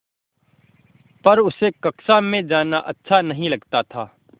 पर उसे कक्षा में जाना अच्छा नहीं लगता था